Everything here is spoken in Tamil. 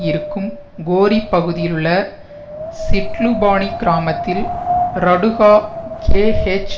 இருக்கும் கோரி பகுதியிலுள்ள ஸிட்லுபானி கிராமத்தில் ரடுகா கேஎச்